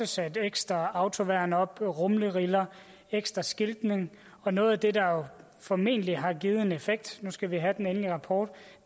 sat ekstra autoværn op der er rumleriller og ekstra skiltning noget af det der formentlig har givet en effekt nu skal vi have den endelige rapport